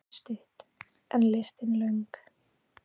Lífið er stutt en listin löng.